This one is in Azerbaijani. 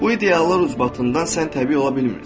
Bu ideallar ucbatından sən təbii ola bilmirsən.